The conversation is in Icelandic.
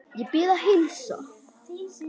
Ég bið að heilsa